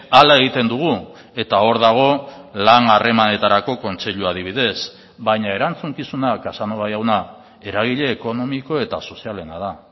hala egiten dugu eta hor dago lan harremanetarako kontseilua adibidez baina erantzukizuna casanova jauna eragile ekonomiko eta sozialena da